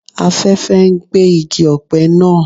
Afẹ́fẹ́ ń gbé igi ọ̀pẹ naa